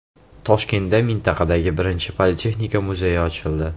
Toshkentda mintaqadagi birinchi Politexnika muzeyi ochildi.